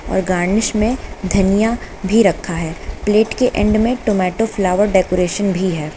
Garnish में धनिया भी रखा है प्लेट के एंड में टोमेटो फ्लावर डेकोरेशन भी है।